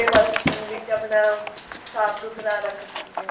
ਵਾਤਾਵਰਨ ਵਿੱਚ ਆਪਣਾ ਸਾਫ਼ ਸੁਥਰਾ ਰੱਖ ਸਕਦੇ ਆਂ